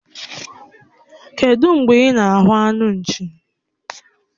Kedụ mgbe ị na-ahụ anụ nchi?